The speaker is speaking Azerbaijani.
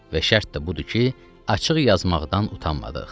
Və şərt də budur ki, açıq yazmaqdan utanmadıq.